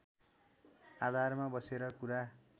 आधारमा बसेर कुरा